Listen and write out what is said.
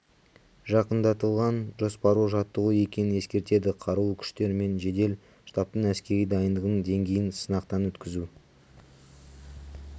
жақындатылған жоспарлы жаттығу екенін ескертеді қарулы күштер мен жедел штабтың әскери дайындығының деңгейін сынақтан өткізу